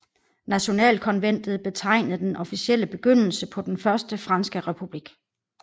Nationalkonventet betegnede den officielle begyndelse på den Første franske republik